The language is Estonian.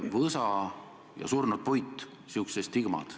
Võsa ja surnud puit – säärased stigmad.